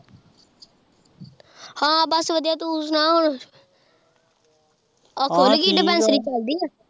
ਹਾਂ ਬਸ ਵਧੀਆ ਤੂੰ ਸੁਣਾ ਹੋਰ ਆ ਖੁੱਲ ਗਈ ਡਿਪੈਂਸਰੀ ਚੱਲਦੀ ਆ।